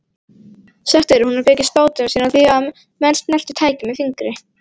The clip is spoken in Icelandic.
Sagt er að hún byggi spádóma sína á því að menn snerti tækið með fingri.